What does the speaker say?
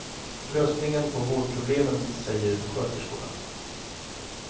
Lösningen på vårdproblemen, säger sköterskorna.